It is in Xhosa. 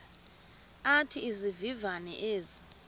athi izivivane ezi